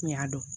N y'a dɔn